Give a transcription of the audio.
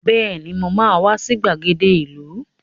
Bẹ́ẹ̀ni, mo ma wá sí ìgbàgede ìlú